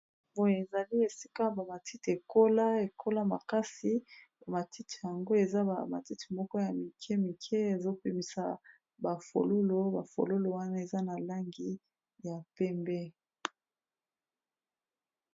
Boye ezali esika ba matiti ekola , ekola makasi matiti yango eza ba matiti moko ya mike mike ezo bimisa ba fololo ba fololo wana eza na langi ya pembe